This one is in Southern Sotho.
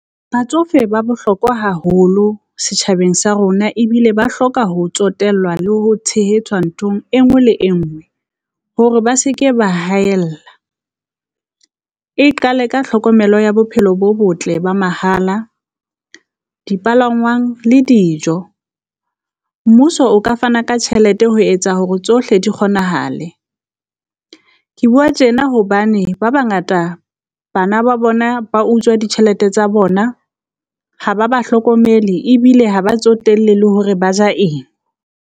Batsofe ba bohlokwa haholo setjhabeng sa rona, ebile ba hloka ho tsotellwa le ho tshehetswa nthong e nngwe le engwe hore ba se ke ba haella. E qale ka tlhokomelo ya bophelo bo botle ba mahala dipalangwang le dijo, mmuso o ka fana ka tjhelete ho etsa hore tsohle di kgonahale. Ke bua tjena hobane ba bangata bana ba bona ba utswa ditjhelete tsa bona, ha ba ba hlokomele ebile ha ba tsotella le hore ba ja eng.